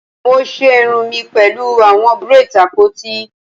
Mo ṣe irun mi pẹlu awọn braids apoti